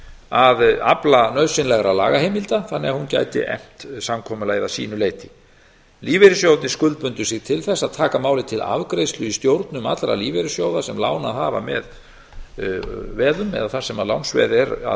að afla nauðsynlegra lagaheimilda þannig að hún gæti efnt samkomulagið að sínu leyti lífeyrissjóðirnir skuldbundu sig til þess að taka málið til afgreiðslu í stjórnum allra lífeyrissjóða sem lánað hafa með veðum eða þar sem lánsveð er að